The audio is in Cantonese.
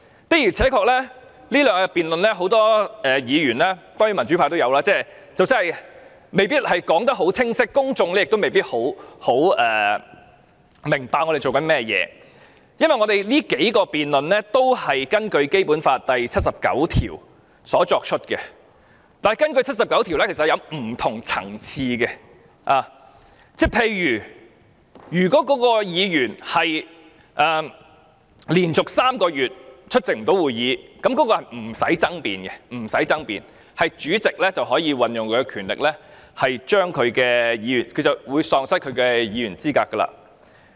的而且確，這兩天的辯論有很多議員——當然包括民主派議員——即使說得很清晰，公眾也未必明白我們在做甚麼，因為我們這數項辯論也是根據《基本法》第七十九條作出的，但第七十九條是有不同適用情況的，例如如果該議員連續3個月不出席會議，那是不用爭辯的，主席可以運用權力宣告該議員喪失其議員資格。